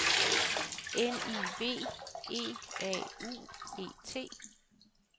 N I V E A U E T